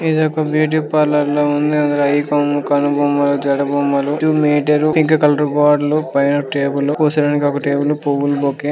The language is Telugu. ఈడ ఒక బ్యూటీ పార్లర్లా ఉంది . అయి బొమ్మలు కనుబొమ్మలు జడ బొమ్మలు స్విచ్ మీటర్ ఇంకా కలర్ బావుంది పైన టేబుల్ --